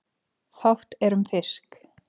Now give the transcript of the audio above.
Fátt er um fisk